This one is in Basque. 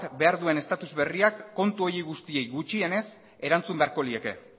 behar duen estatus berriak kontu horiei guztiei gutxienez erantzun beharko lieke